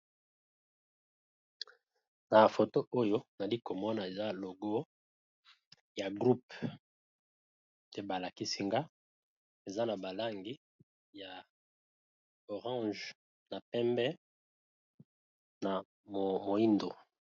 Na foto oyo nali komona eza logo ya groupe te balakisi nga eza na balangi ya orange na pembe na moyindo'